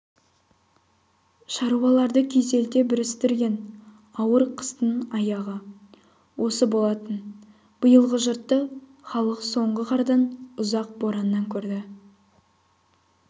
шаруаларды күйзелте бүрістірген ауыр қыстың аяғы осы болатын биылғы жұтты халық соңғы қардан ұзақ бораннан көрді